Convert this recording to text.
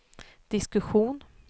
diskussion